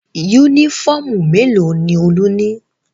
Únífọ́ọ́mù mélòó ni Olú ní?